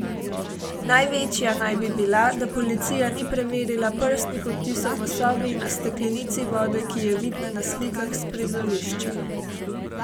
Največja naj bi bila, da policija ni preverila prstnih odtisov v sobi in na steklenici vode, ki je vidna na slikah s prizorišča.